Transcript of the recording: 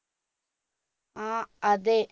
ആ അതെ